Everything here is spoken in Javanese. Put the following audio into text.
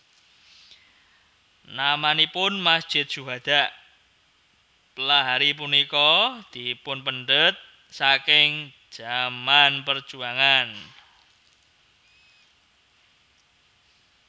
Namanipun Masjid Syuhada Pelaihari punika dipunpendhet saking zaman perjuangan